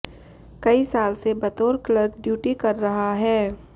कई साल से बतौर क्लर्क ड्यूटी कर रहा है